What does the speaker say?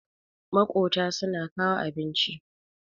makota suna kawo abinci